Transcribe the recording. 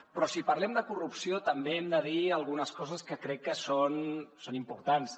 però si parlem de corrupció també hem de dir algunes coses que crec que són importants